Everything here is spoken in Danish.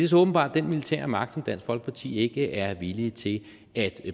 så åbenbart den militære magt som dansk folkeparti ikke er villige til at